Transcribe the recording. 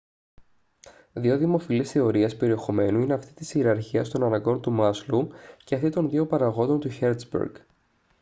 δύο δημοφιλείς θεωρίες περιεχομένου είναι αυτή της ιεραρχίας των αναγκών του μάσλοου και αυτή των δύο παραγόντων του χέρτζμπεργκ